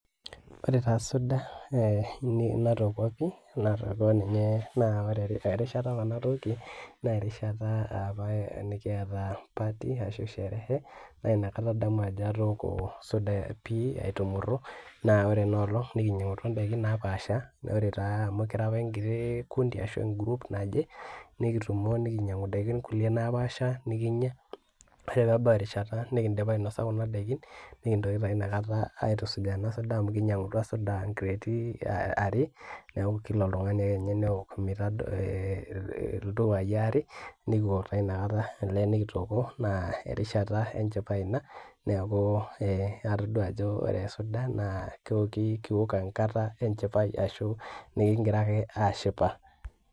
Ore taa suda natooko pii, natooko ninye naa ore erishata apa natookie, naa erishata apa nikiata party ashu sherehe naa inakata adamu ajo atooko suda, pii aitumuru, naa ore ena olong nikinyiang'utua idaiki pii naapasha, ore taa amu kira apa enkiti, kundi ashu e group naje nikitumo nikinyiang'u kulie daiki naapasha nikinyia. ore pee ebau erishta nikidipa ainosa kuna daikin, nikintoki taa inakata aitusujaa ena suda amu kinyiang'utua suda nkireeti are, neeku kila oltungani ake ninye neok iltupai aare, nikiok taa ina kata, enikitooko naa erishata enchipai ina, neeku atodua ajo ore suda naa kiok enkata enchipai ashu, nkigira ake aashipa.